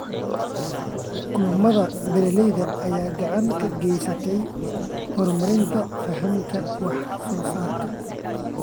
Kulamada beeralayda ayaa gacan ka geysta horumarinta fahamka wax soo saarka.